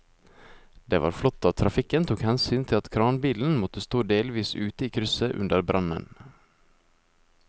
Det var flott at trafikken tok hensyn til at kranbilen måtte stå delvis ute i krysset under brannen.